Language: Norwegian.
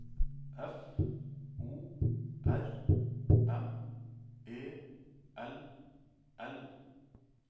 F O R M E L L